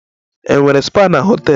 Enwere spa na họtel?